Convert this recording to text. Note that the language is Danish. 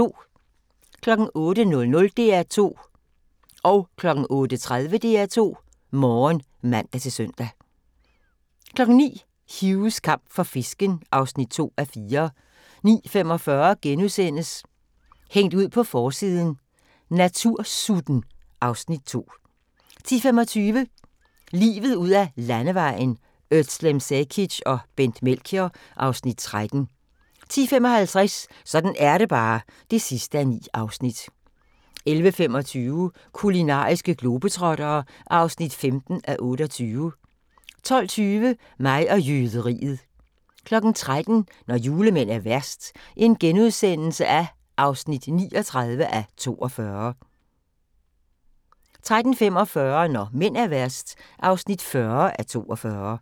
08:00: DR2 Morgen (man-søn) 08:30: DR2 Morgen (man-søn) 09:00: Hughs kamp for fisken (2:4) 09:45: Hængt ud på forsiden: Natursutten (Afs. 2)* 10:25: Livet ud ad Landevejen: Özlem Cekic og Bent Melchior (Afs. 13) 10:55: Sådan er det bare (9:9) 11:25: Kulinariske globetrottere (15:28) 12:20: Mig og jøderiet 13:00: Når julemænd er værst (39:42)* 13:45: Når mænd er værst (40:42)